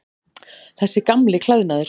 Þessi gamli klæðnaður.